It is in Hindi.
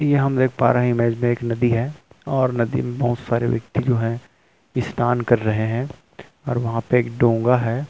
ये हम देख पा रहे है इमेज में एक नदी है और नदी में बहुत सारे व्यक्ति जो है स्नान कर रहे है और वहाँ पे एक डोंगा है।